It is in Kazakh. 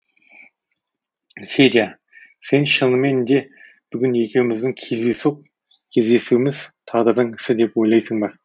федя сен шынымен де бүгін екеуміздің кездейсоқ кездесуіміз тағдырдың ісі деп ойлайсың ба